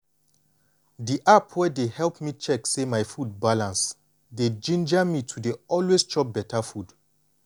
the app wey dey help me check say my food balance dey ginger me to dey always chop beta food.